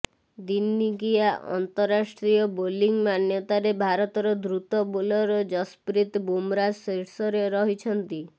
ଦିନିକିଆ ଅନ୍ତରାଷ୍ଟ୍ରୀୟ ବୋଲିଂ ମାନ୍ୟତାରେ ଭାରତର ଦ୍ରୁତ ବୋଲର ଯଶପ୍ରୀତ ବୁମରା ଶୀର୍ଷରେ ରହିଛନ୍ତି